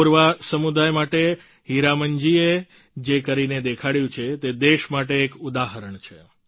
કોરવા સમુદાય માટે હીરામન જીએ જે કરીને દેખાડ્યું છે તે દેશ માટે એક ઉદાહરણ છે